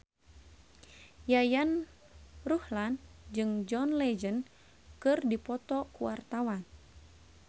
Yayan Ruhlan jeung John Legend keur dipoto ku wartawan